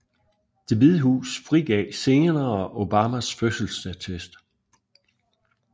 Det Hvide Hus frigav senere Obamas fødselsattest